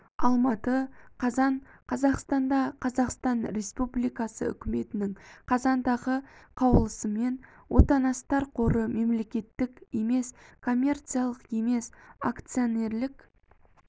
алматы қазан қазақстанда қазақстан республикасы үкіметінің қазандағы қаулысымен отанасттар қоры мемлекеттік емес коммерциялық емес акционерлік